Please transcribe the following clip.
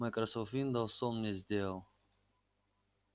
майкрософт виндоуз он мне сделал